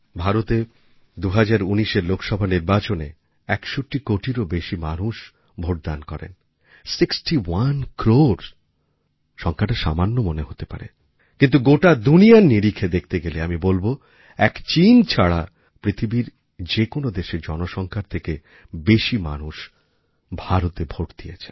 ভারতে ২০১৯এর লোকসভা নির্বাচনে ৬১ কোটিরও বেশি মানুষ ভোটদান করেন সিক্সটি ওনে ক্রোর সংখ্যাটা সামান্য মনে হতে পারে কিন্তু গোটা দুনিয়ার নিরিখে দেখতে গেলে আমি বলব এক চিন ছাড়া পৃথিবীর যে কোনো দেশের জনসংখ্যার থেকে বেশি মানুষ ভারতে ভোট দিয়েছেন